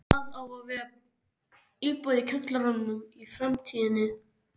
Það á að vera íbúð í kjallaranum í framtíðinni.